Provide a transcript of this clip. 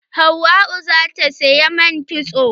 Hauwa za ta saya man kitso.